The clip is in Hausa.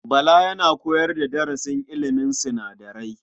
Bala yana koyar da darasin ilimin sinadarai.